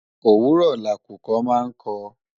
òwúrọ̀ lakùkọ máa ń kọ